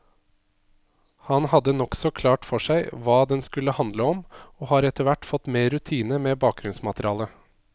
Han hadde nokså klart for seg hva den skulle handle om, og har etterhvert fått mer rutine med bakgrunnsmaterialet.